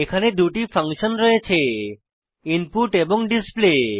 এখানে দুটি ফাংশন রয়েছে ইনপুট এবং ডিসপ্লে